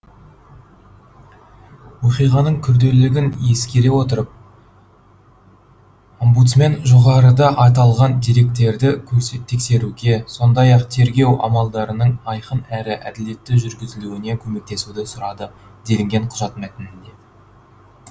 оқиғаның күрделілігін ескере отырып омбудсмен жоғарыда аталған деректерді тексеруге сондай ақ тергеу амалдарының айқын әрі әділетті жүргізілуіне көмектесуді сұрады делінген құжат мәтінінде